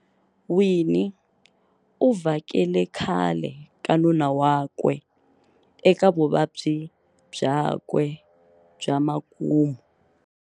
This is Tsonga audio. Winnie uvhakele khale ka nuna wakwe eka vuvabyi bya kwe bya makumu.